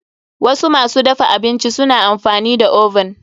Wasu masu dafa abinci suna amfani da oven.